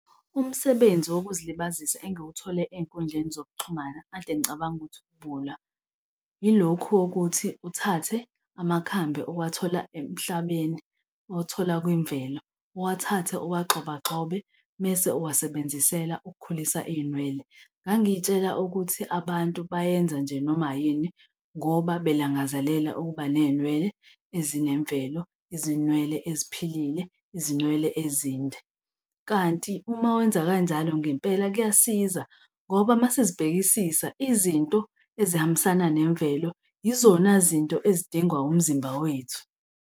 Umsebenzi wokuzilibazisa engiwathole ey'nkundleni zokuxhumana ekade ngicabanga ukuthi ubuwula yilokhu wokuthi uthathe amakhambi owathola emhlabeni, owathola kwimvelo, owathathe owagxobagxobe mese uwasebenzisela ukukhulisa iy'nwele. Ngangiyitshela ukuthi abantu bayenza nje noma yini ngoba belangazelela ukuba neyinwele ezinemvelo, izinwele eziphilile, izinwele ezinde kanti uma wenza kanjalo ngempela kuyasiza ngoba uma sizibhekisisa, izinto ezihambisana nemvelo yizona zinto ezidingwa umzimba wethu.